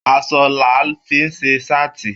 Aṣọ làá fí n ṣe saati.